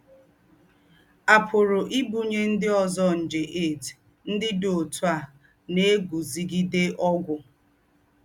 À pùrù ìbùnyé ndí́ ózọ́ njè HIV ndí́ dí ótú à nà-ègúzígidé ógwù.